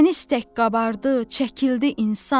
Dəniz tək qabardı, çəkildi insan.